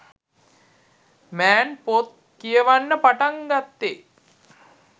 මෑන් පොත් කියවන්න පටන් ගත්තෙ